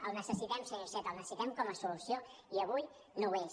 el necessitem senyor iceta el necessitem com a solució i avui no ho és